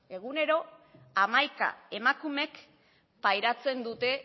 egunero hamaika emakumek pairatzen dute